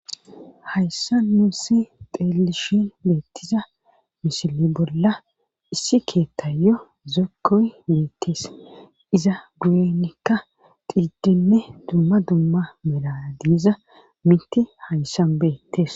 hayssa nuussi xeelishin beettiza mishili bolla issi keettayyo zokkoy beettees iza guyenekka xiidenne dumma dumma melana diiza miti hayssan beettes